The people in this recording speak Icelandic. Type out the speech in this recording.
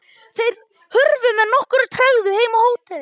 Þeir hurfu með nokkurri tregðu heim á hótelið.